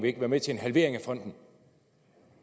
ikke være med til en halvering af fonden